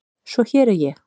Svo hér er ég.